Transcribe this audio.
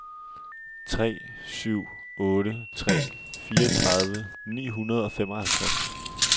tre syv otte tre fireogtredive ni hundrede og femoghalvtreds